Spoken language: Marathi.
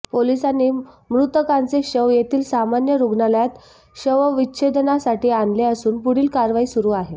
पोलिसांनी मृतकांचे शव येथील सामान्य रूग्णालयात शवविच्छेदनासाठी आणले असून पुढील कारवाई सुरू आहे